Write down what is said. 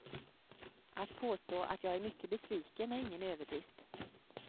Att påstå att jag är mycket besviken är ingen överdrift.